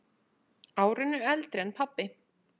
Árinu eldri en pabbi.